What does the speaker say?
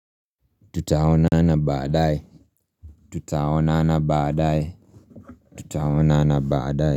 Tutaonana baadaye.